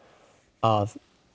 að